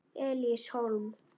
Elías Hólm.